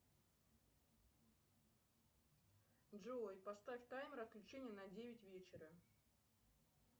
джой поставь таймер отключения на девять вечера